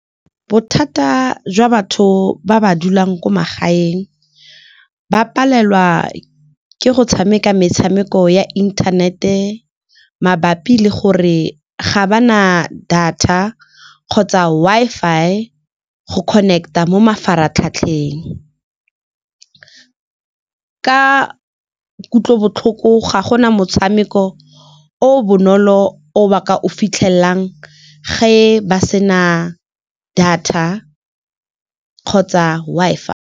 Bothata jwa batho ba ba dulang ko magaeng ba palelwa ke go tshameka metshameko ya internet-e mabapi le gore ga ba na data kgotsa Wi-Fi go connect-a mo mafaratlhatlheng. Ka kutlobotlhoko ga go na motshameko o bonolo o ba ka o fitlhelelang ge ba sena data kgotsa Wi-Fi.